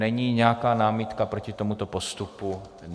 Není nějaká námitka proti tomuto postupu?